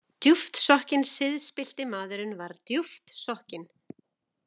Djúpt sokkinn Siðspillti maðurinn var djúpt sokkinn.